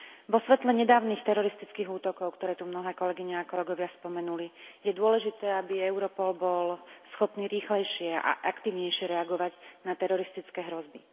Vo svetle nedávnych teroristických útokov, ktoré tu mnohé kolegyne a kolegovia spomenuli, je dôležité, aby Europol bol schopný rýchlejšie a aktívnejšie reagovať na teroristické hrozby.